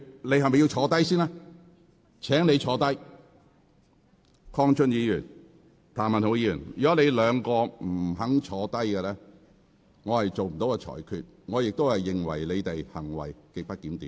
鄺俊宇議員、譚文豪議員，如果你們不坐下，我不會作出裁決，而我亦會視你們為行為極不檢點。